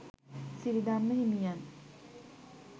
සිරිධම්ම හිමියන්